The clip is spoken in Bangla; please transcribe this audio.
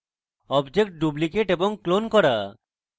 objects duplicate এবং clone করা